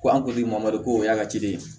Ko an kun ti mamadu koo y'a ka ci ye